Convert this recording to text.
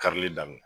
Karili daminɛ